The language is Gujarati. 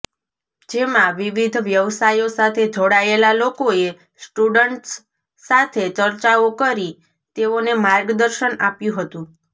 જેમાં વિવિધ વ્યવસાયો સાથે જોડાયેલા લોકોએ સ્ટુડન્ટસ સાથે ચર્ચાઓ કરી તેઓને માર્ગદર્શન આપ્યું હતું